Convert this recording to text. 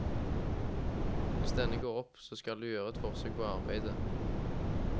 Hvis denne går opp, så skal du gjøre et forsøk på å arbeide.